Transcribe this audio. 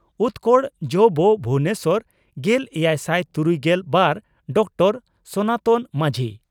ᱩᱛᱠᱚᱲ ᱡᱹᱵᱹ ᱵᱷᱩᱵᱚᱱᱮᱥᱚᱨ᱾ᱜᱮᱞ ᱮᱭᱟᱭᱥᱟᱭ ᱛᱩᱨᱩᱭᱜᱮᱞ ᱵᱟᱨ ᱰᱚᱠᱴᱚᱨᱹ ᱥᱚᱱᱟᱛᱚᱱ ᱢᱟᱹᱡᱷᱤ